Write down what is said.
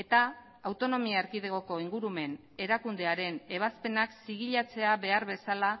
eta autonomia erkidegoko ingurumen erakundearen ebazpenak zigilatzea behar bezala